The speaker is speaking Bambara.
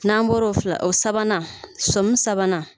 N'an bɔra o fila o sabanan sɔmi sabanan